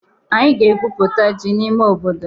Anyị ga-egwụputa ji n'ime obodo.